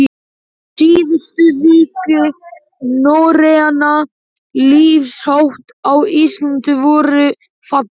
Síðustu vígi norrænna lífshátta á Íslandi voru fallin.